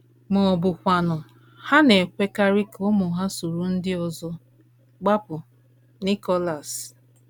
Ma ọ bụkwanụ, ha na - ekwekarị ka ụmụ ha soro ndị ọzọ kpapụ. ” Nicholas.